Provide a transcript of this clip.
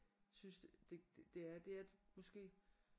Synes det det er måske